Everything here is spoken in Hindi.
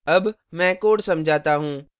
अब मैं code समझाता हूँ